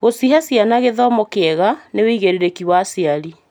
Gũcihe ciana gĩthomo kĩega nĩ wĩigĩrĩrĩki wa aciari.